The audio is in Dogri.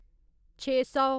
छे सौ